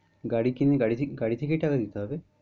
গাড়ি কিনেগাড়ি থেকেই টাকা দিতে হবে?